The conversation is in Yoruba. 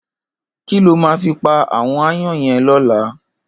Kiló má fi pá áwòn àáyàn yèn lòlá